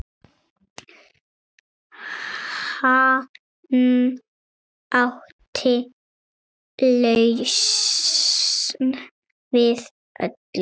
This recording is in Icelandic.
Hann átti lausn við öllu.